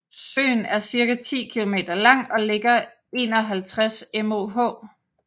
Søen er cirka 10 km lang og ligger 51 moh